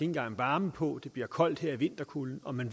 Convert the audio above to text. engang varme på det bliver koldt her i vinterkulden og man